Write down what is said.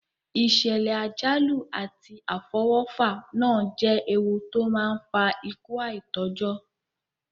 Ìsẹ̀lẹ̀ àjálù àti àfọwọ́fà náà je ewu to n fa ikú aitọ́jọ́